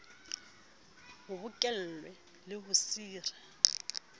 bo bokellwe le ho sire